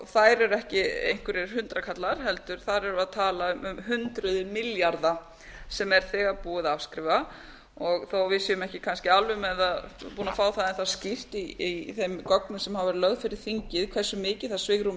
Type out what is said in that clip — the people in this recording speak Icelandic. þær eru ekki einhverjir hundraðkalla heldur erum við þar að tala um hundruð milljarða sem er þegar búið að afskrifa og þó að við séum ekki kannski alveg búin að fá það enn þá skýrt í þeim gögnum sem hafa verið lögð fyrir þingið hversu mikið það svigrúm